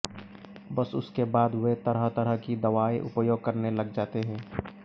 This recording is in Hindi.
बस उसके बाद वे तरह तरह की दवाएं उपयोग करने लग जाते हैं